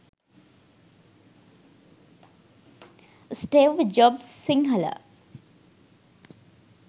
steve jobs sinhala